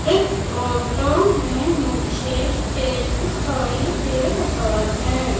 इस फोटो में मुझे स्टेज दिखाई दे रहा है।